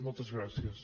moltes gràcies